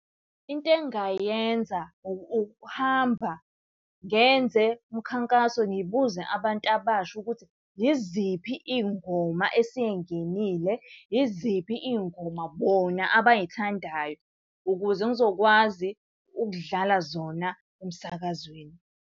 Into engingayenza ukuhamba ngenze umkhankaso ngibuze abantu abasha ukuthi yiziphi iy'ngoma esey'ngenile, yiziphi iy'ngoma bona abayithandayo. Ukuze ngizokwazi ukudlala zona emsakazweni.